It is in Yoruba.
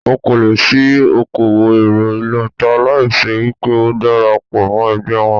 O kò lè ṣí okòwò èrọ ìlọta láì ṣe wípé o dara pọ̀ mọ́ ẹgbẹ́ wọn.